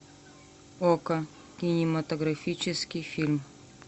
окко кинематографический фильм